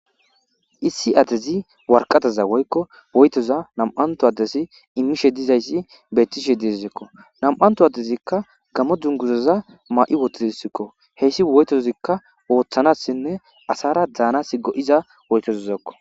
issi adezi warqataza woykko woytoza nam7anto addesi imishe dizayssi beettishe diezsekko nam7anto addezikka gamo dzunguzaza ma7i wotidsikko heyssi woytozikka ooththanassinne asara daanas go7iza woytozizakko